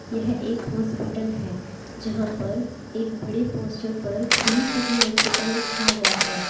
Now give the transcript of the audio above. यह एक हॉस्पिटल है जहां पर एक बड़े पोस्टर पर ग्रीन सिटी हॉस्पिटल लिखा हुआ है।